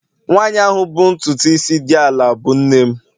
Nwanyị ahụ bụ ntutu isi dị ala bụ nne m